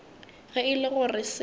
ge e le gore se